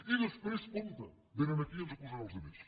i després compte vénen aquí i ens acusen als altres